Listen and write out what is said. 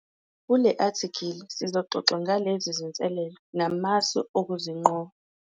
Kule athikhili sizoxoxa ngalezi zinselelo namasu okuzinqoba.